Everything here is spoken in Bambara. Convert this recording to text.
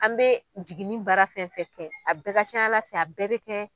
An bɛ jiginin bara fɛn fɛn kɛ, a bɛɛ ka can ala fɛ, a bɛɛ bɛ kɛ.